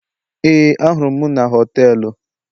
Éè, ahụrụ m m na họtelu